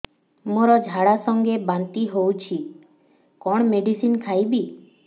ମୋର ଝାଡା ସଂଗେ ବାନ୍ତି ହଉଚି କଣ ମେଡିସିନ ଖାଇବି